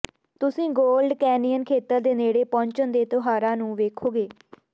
ਤੁਸੀਂ Gold Canyon ਖੇਤਰ ਦੇ ਨੇੜੇ ਪਹੁੰਚਣ ਦੇ ਤਿਉਹਾਰਾਂ ਨੂੰ ਵੇਖੋਗੇ